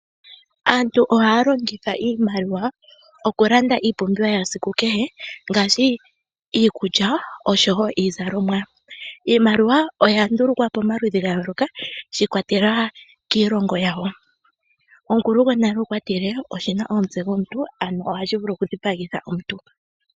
Aantu ohaya longitha iimaliwa oku landa iipumbiwa yasiku kehe ngaashi iikulya oshowo iizalomwa, Iimaliwa oya ndulukwa pomaludhi ga yooloka shiikwatelela kiilongo yawo, omukulu gwonale okwatile oshina omutse gwomuntu ano ohashi vulu oku dhipagitha omuntu.